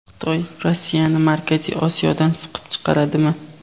Xitoy Rossiyani Markaziy Osiyodan siqib chiqaradimi?